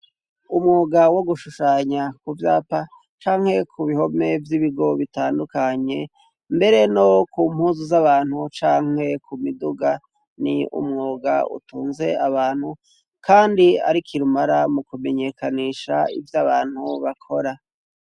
Umwuga wo gushushanya ku vyapa canke ku bihome vy'ibigo bitandukanye mbere no ku mpuzu z'abantu canke ku miduga ni umwuga utunze abantu kandi ari kirumara mu kumenyekanisha ivyo abantu bakora.